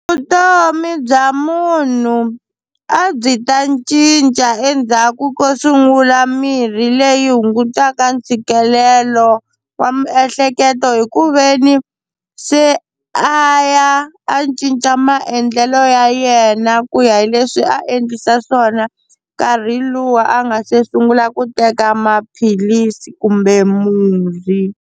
Vutomi bya munhu a byi ta cinca endzhaku ko sungula mirhi leyi hungutaka ntshikelelo wa miehleketo hi ku veni se a ya a cinca maendlelo ya yena ku ya hi leswi se a endlisa swona nkarhi luwa a nga se sungula ku teka maphilisi kumbe murhi.